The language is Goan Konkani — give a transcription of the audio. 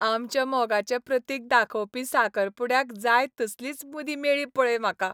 आमच्या मोगाचें प्रतीक दाखोवपी साकरपुड्याक जाय तसलीच मुदी मेळ्ळी पळय म्हाका.